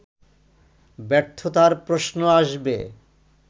ব্যর্থতার প্রশ্ন আসবে